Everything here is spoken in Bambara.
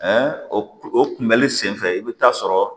o kunbɛli sen fɛ i bɛ taa sɔrɔ